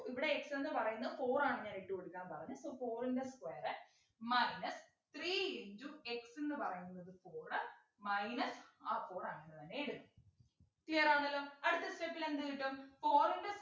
ഇവിടെ x ന്നു പറയുന്നെ four ആണ് ഞാൻ ഇട്ടു കൊടുക്കാൻ പറഞ്ഞ so four ൻ്റെ square minus three into x ന്നു പറയുന്നത് four minus ആ four അങ്ങനെതന്നെ ഇടുന്നു clear ആണല്ലോ അടുത്ത step ൽ എന്ത് കിട്ടും four ൻ്റെ